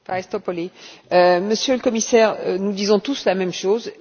Monsieur le Commissaire, nous disons tous la même chose et c'est bien naturel.